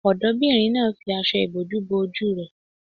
Ọ̀dọ́bìnrin náà fi aṣọ ìbòjú bo ojú rẹ̀